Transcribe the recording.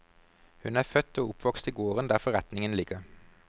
Hun er født og oppvokst i gården der forretningen ligger.